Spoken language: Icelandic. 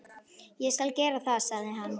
Ég skal gera það, sagði hann.